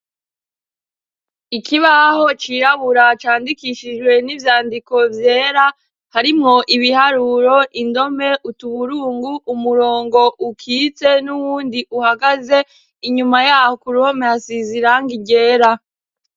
Ikibaho cirabura candikishijwe n'ivyandiko vyera, harimwo ibiharuro, indome, utuburungu, umurongo ukitse n'uwundi uhagaze, inyuma yaho k'uruhome hasize irangi ryera.